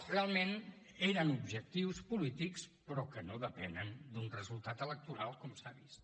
realment eren objectius polítics però que no depenen d’un resultat electoral com s’ha vist